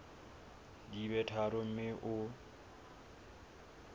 di be tharo mme o